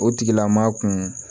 O tigilamaa kun